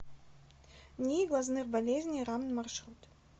нии глазных болезней рамн маршрут